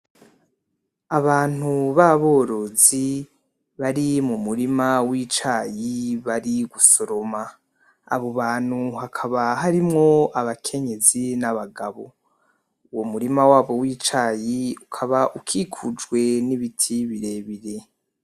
Abantu baborozi bari mu murima w'icayi bari gusoroma. Abo bantu hakaba harimwo abakenyezi n'abagabo. Uwo murima wabo w'icayi ukaba ukikujwe n'ibiti birebire.